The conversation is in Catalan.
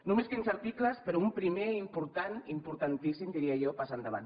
només quinze articles però un primer i important importantíssim diria jo pas endavant